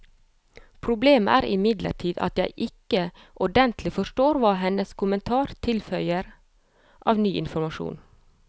Problemet er imidlertid at jeg ikke ordentlig forstår hva hennes kommentar tilfører av ny informasjon.